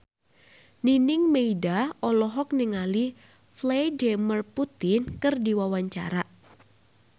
Nining Meida olohok ningali Vladimir Putin keur diwawancara